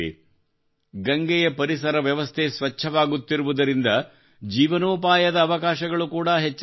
ಗಂಗೆಯ ಪರಿಸರ ವ್ಯವಸ್ಥೆ ಸ್ವಚ್ಛವಾಗುತ್ತಿರುವುದರಿಂದ ಜೀವನೋಪಾಯದ ಅವಕಾಶಗಳು ಕೂಡಾ ಹೆಚ್ಚಾಗುತ್ತಿವೆ